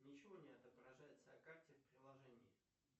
ничего не отображается о карте в приложении